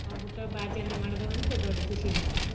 ಅವ್ರ ಹುಟ್ಟು ಹಬ್ಬ ಆಚರ್ಣೆ ಮಾಡೋದ ಒಂದ್ ದೊಡ್ಡ ಖುಷಿ ರಿ ನಮ್ಗ.